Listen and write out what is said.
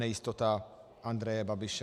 Nejistota Andreje Babiše.